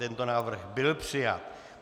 Tento návrh byl přijat.